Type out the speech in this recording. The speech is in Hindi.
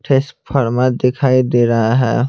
ठेस फार्मा दिखाई दे रहा है।